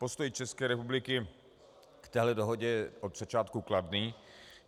Postoj České republiky k této dohodě je od začátku kladný.